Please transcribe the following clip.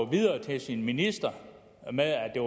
videre til sin minister med at det